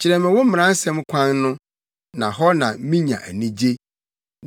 Kyerɛ me wo mmaransɛm kwan no na hɔ na minya anigye.